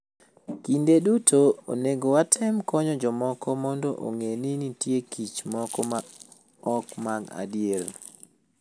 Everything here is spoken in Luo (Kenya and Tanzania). Kinde duto, onego watem konyo jomoko mondo ong'e ni nitie kich moko ma ok mag adier.